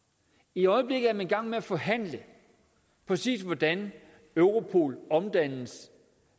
i øjeblikket er man i gang med at forhandle præcis hvordan europol omdannes